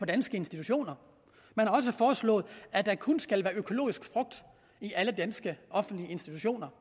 danske institutioner man har også foreslået at der kun skal være økologisk frugt i alle danske offentlige institutioner